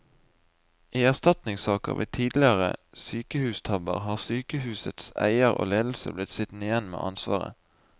I erstatningssaker ved tidligere sykehustabber har sykehusets eier og ledelse blitt sittende igjen med ansvaret.